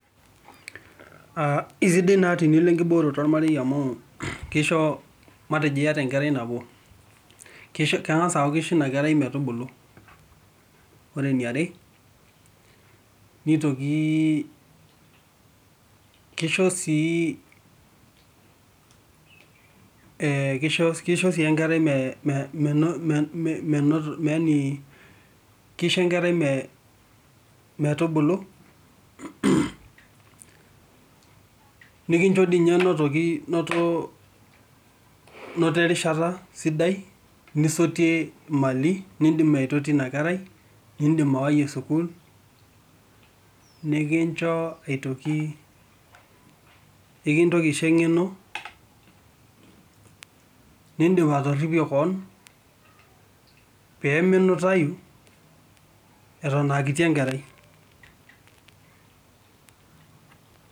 Keisidai tenilo enkibooroto olmarei amu keisho matejo iyata enkerai nabo keng'as aaku keisho ina kerai metubulu, ore eniare neitoki keisho sii enkarai menoto yaani keisho enkerai metubulu nikinjo dii ninye notoki noto erishata sidai nisotie mali nindim aitotio ina kerai ,nindim awayie sukuul ,niincho aitoki nikintoki aisho engeno nindim atorrripie kewon pee minutayu eton aa kiti enkerai.